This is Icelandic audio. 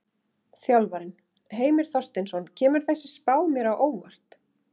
Þjálfarinn: Heimir Þorsteinsson: Kemur þessi spá mér á óvart?